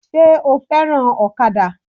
Sé o fẹ́ràn ọ̀kadà?